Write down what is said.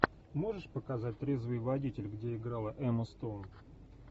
можешь показать трезвый водитель где играла эмма стоун